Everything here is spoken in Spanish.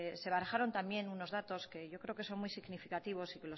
se barajaron también unos datos que yo creo que son muy significativos y